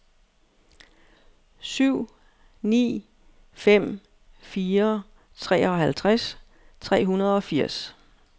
syv ni fem fire treoghalvtreds tre hundrede og firs